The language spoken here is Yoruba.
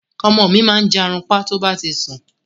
Ọmọ mi máa ń jàrunpa to bá ti ń sún